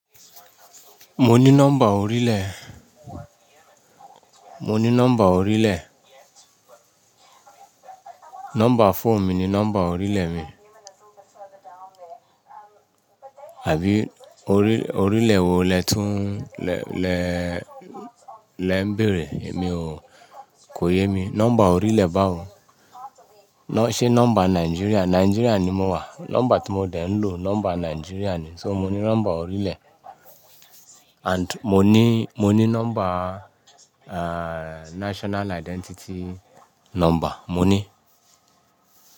Mo ní nọ́mbà orílẹ̀, mo ní nọ́mbà orílẹ̀. Nọ́mbà fóònù mi ni nọ́mbà orílẹ̀ mi. Àbí orí, orílẹ̀ wo lè tún lè, lè, lè ń bèèrè èmi o, kò yé mi. Nọ́mbà orílẹ̀ báwo? Nọ́, ṣé nọ́mbà Nigeria? Nigeria ni mo wà. Nọ́mbà tí mo dẹ̀ ń lò nọ́mbà Nigeria ni. So mo ní nọ́mbà orílẹ̀ and mo ní, mo ní nọ́mbà, eh, national identity nọ́mbà, mo ní.